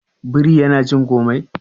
biri yana cin komai